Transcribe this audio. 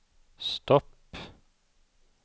stopp